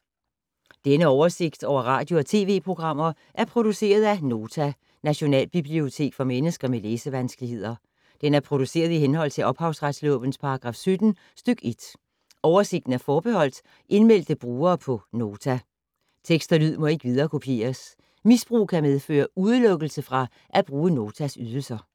Denne oversigt over radio og TV-programmer er produceret af Nota, Nationalbibliotek for mennesker med læsevanskeligheder. Den er produceret i henhold til ophavsretslovens paragraf 17 stk. 1. Oversigten er forbeholdt indmeldte brugere på Nota. Tekst og lyd må ikke viderekopieres. Misbrug kan medføre udelukkelse fra at bruge Notas ydelser.